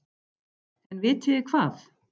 En vitiði hvað?